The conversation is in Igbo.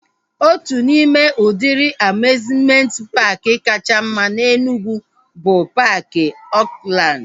Otu n'ime udịri amiuzmenti paaki kacha mma na Enugwu bụ paaki Oakland